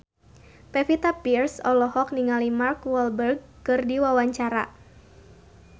Pevita Pearce olohok ningali Mark Walberg keur diwawancara